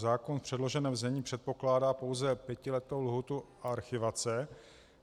Zákon v předloženém znění předpokládá pouze pětiletou lhůtu archivace.